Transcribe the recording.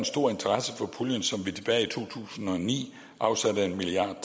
stor interesse for puljen som vi tilbage i to tusind og ni afsatte en milliard